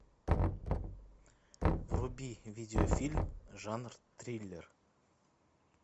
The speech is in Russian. вруби видеофильм жанр триллер